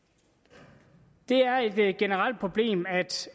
det er et generelt problem at